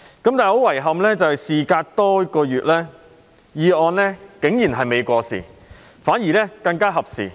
不過，很遺憾，事隔多月後，議案竟然未過時，反而更為合時。